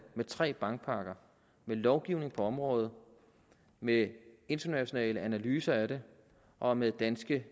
med tre bankpakker med lovgivning på området med internationale analyser af den og med danske